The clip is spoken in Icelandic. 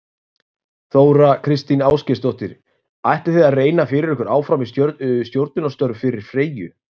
Þóra Kristín Ásgeirsdóttir: Ætlið þið að reyna fyrir ykkur áfram í stjórnunarstörf fyrir Freyju?